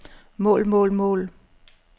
mål mål mål